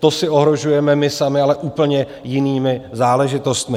To si ohrožujeme my sami, ale úplně jinými záležitostmi.